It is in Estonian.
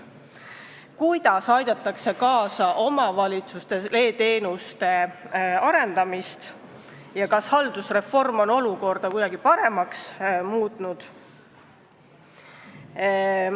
Kuidas aidatakse kaasa omavalitsuste e-teenuste arendamisele ja kas haldusreform on olukorda kuidagi paremaks muutnud?